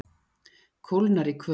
Kólnar í kvöld